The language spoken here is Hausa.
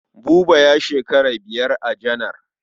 Buba ya shekara biyar a janar.